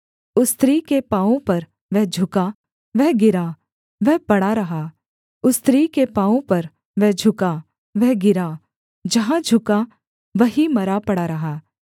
उस स्त्री के पाँवों पर वह झुका वह गिरा वह पड़ा रहा उस स्त्री के पाँवों पर वह झुका वह गिरा जहाँ झुका वहीं मरा पड़ा रहा